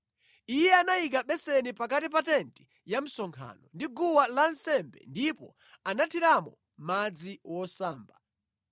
Iye anayika beseni pakati pa tenti ya msonkhano ndi guwa lansembe ndipo anathiramo madzi wosamba,